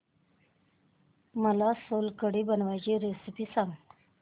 मला सोलकढी बनवायची रेसिपी सांग